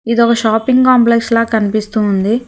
ఇదొక shopping complex లా కనిపిస్తూ ఉంది.